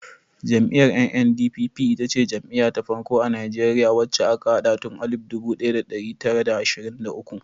Jam'iyyar NNDP ita ce jam'iya ta farko a Najeriya wacce aka haɗa tun alif dubu ɗaya da ɗari tara da ashirin da uku.